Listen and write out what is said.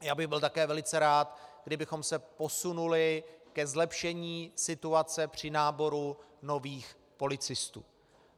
Já bych byl také velice rád, kdybychom se posunuli ke zlepšení situace při náboru nových policistů.